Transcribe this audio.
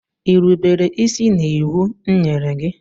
I rubere isi n'iwu m nyere gị?